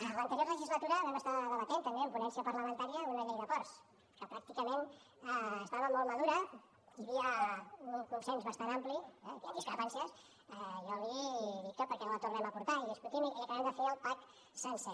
a l’anterior legislatura vam estar debatent també en ponència parlamentària una llei de ports que pràcticament estava molt madura hi havia un consens bastant ampli hi han discrepàncies jo li dic que per què no la tornem a portar i la discutim i acabem de fer el pack sencer